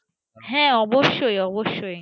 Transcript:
হ্যাঁ অবশ্য অবশ্য।